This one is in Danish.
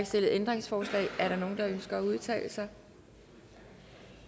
stillet ændringsforslag er der nogen der ønsker at udtale sig